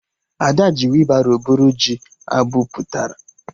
Ada ji weebaro bụrụ ji abụpụtara